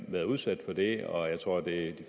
været udsat for det og jeg tror at det